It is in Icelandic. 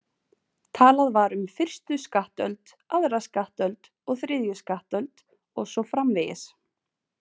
Talað var um fyrstu skattöld, aðra skattöld og þriðju skattöld og svo framvegis